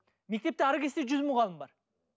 мектепте әрі кетсе жүз мұғалім бар